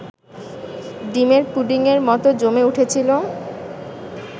ডিমের পুডিংয়ের মতো জমে উঠেছিল